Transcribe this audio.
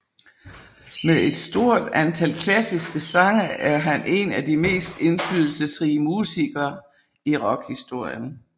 Med et stort antal klassiske sange er han en af de mest indflydelsesrige musikere i rockhistorien